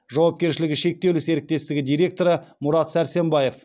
жауапкершілігі шектеулі серіктестігі директоры мұрат сәрсенбаев